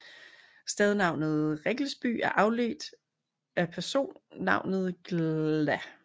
Stednavnet Riggelsby er afledt af personnavnet glda